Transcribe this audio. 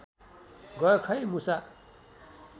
गयो खै मुसा